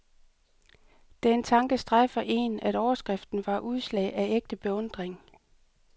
Den tanke strejfer én, at overskriften var udslag af ægte beundring.